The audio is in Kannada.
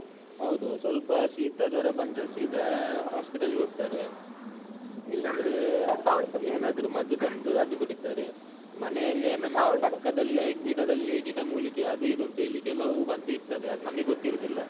ಹೌದು ಸ್ವಲ್ಪ ಶೀತ ಜ್ವರ ಬಂದ್ರೆ ಸೀದ ಅಹ್ hospital ಗೆ ಹೋಗ್ತಾರೆ ಇಲ್ಲಂದ್ರೆ ಏನಾದ್ರೂ ಮದ್ದು ತಂದು ಅದು ಕುಡೀತಾರೆ ಮನೆಯಲ್ಲೇ ನಮ್ಮ ಪಕ್ಕದಲ್ಲೇ ಗಿಡದಲ್ಲಿ ಗಿಡಮೂಲಿಕೆ ಅದು ಇದು ಅಂತೇಳಿ ಕೆಲವು ಮದ್ದು ಇರ್ತದೆ ಅದು ನಮಗೆ ಗೊತ್ತಿರುವುದಿಲ್ಲ.